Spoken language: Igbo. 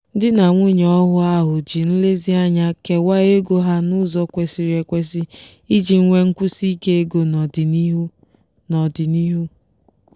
di na nwunye ọhụụ ahụ ji nlezianya kewaa ego ha n'ụzọ kwesịrị ekwesị iji nwee nkwụsiike ego n'ọdịnihu. n'ọdịnihu.